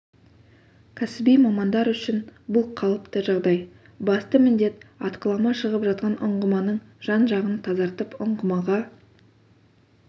кәсіби мамандар үшін бұл қалыпты жағдай басты міндет атқылама шығып жатқан ұңғыманың жан-жағын тазартып ұңғымаға